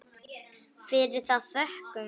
Fyrir það þökkum við.